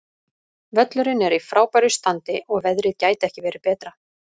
Völlurinn er í frábæru standi og veðrið gæti ekki verið betra.